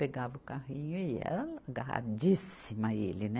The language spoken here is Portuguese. Pegava o carrinho e ela agarradíssima a ele, né?